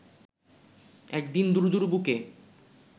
একদিন দুরু দুরু বুকে